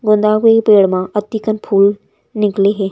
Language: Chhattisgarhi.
गोंदा के पेड़ मा अती कन फूल निकले हे।